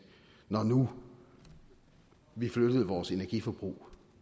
når nu vi flyttede vores energiforbrug